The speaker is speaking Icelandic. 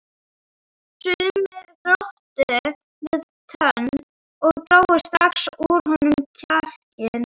Sumir glottu við tönn og drógu strax úr honum kjarkinn.